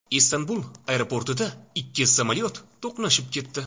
Istanbul aeroportida ikki samolyot to‘qnashib ketdi.